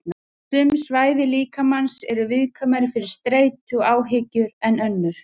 Sum svæði líkamans eru viðkvæmari fyrir streitu og áhyggjum en önnur.